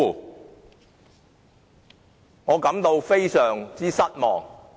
對此，我感到非常失望。